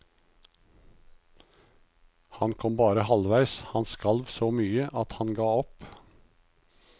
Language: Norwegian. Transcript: Han kom bare halvveis, han skalv så mye at han ga opp.